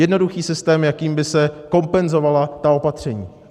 Jednoduchý systém, jakým by se kompenzovala ta opatření.